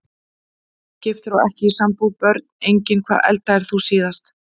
Ógiftur og ekki í sambúð Börn: Engin Hvað eldaðir þú síðast?